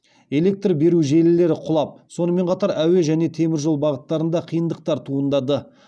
электр беру желілері құлап сонымен қатар әуе және теміржол бағыттарында қиындықтар туындады